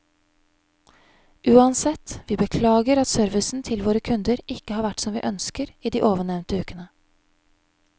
Uansett, vi beklager at servicen til våre kunder ikke har vært som vi ønsker i de ovennevnte ukene.